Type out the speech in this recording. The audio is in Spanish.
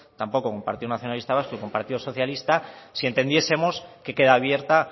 tampoco con partido nacionalista vasco y con partido socialista si entendiesemos que queda abierta